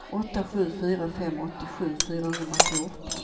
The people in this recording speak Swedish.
åtta sju fyra fem åttiosju fyrahundrafjorton